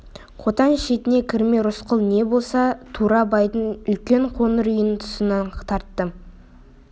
қотан шетінен кірмей рысқұл не де болса тура байдың үлкен қоңыр үйінің тұсынан тартты